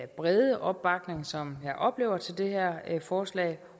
brede opbakning som jeg oplever at til det her forslag